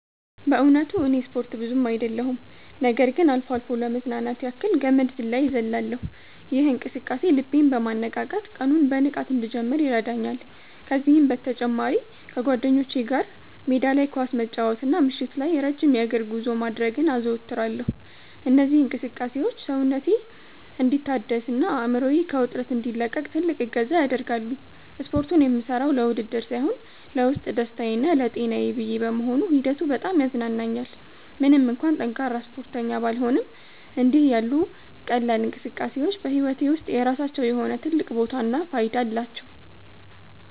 በእውነቱ እኔ ስፖርት ብዙ አይደለሁም ነገር ግን አልፎ አልፎ ለመዝናናት ያክል ገመድ ዝላይ እዘልላለሁ። ይህ እንቅስቃሴ ልቤን በማነቃቃት ቀኑን በንቃት እንድጀምር ይረዳኛል። ከዚህም በተጨማሪ ከጓደኞቼ ጋር ሜዳ ላይ ኳስ መጫወትና ምሽት ላይ ረጅም የእግር ጉዞ ማድረግን አዘወትራለሁ። እነዚህ እንቅስቃሴዎች ሰውነቴ እንዲታደስና አእምሮዬ ከውጥረት እንዲላቀቅ ትልቅ እገዛ ያደርጋሉ። ስፖርቱን የምሠራው ለውድድር ሳይሆን ለውስጥ ደስታዬና ለጤናዬ ብዬ በመሆኑ ሂደቱ በጣም ያዝናናኛል። ምንም እንኳን ጠንካራ ስፖርተኛ ባልሆንም፣ እንዲህ ያሉ ቀላል እንቅስቃሴዎች በሕይወቴ ውስጥ የራሳቸው የሆነ ትልቅ ቦታና ፋይዳ አላቸው።